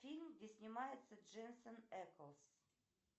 фильм где снимается дженсен эклз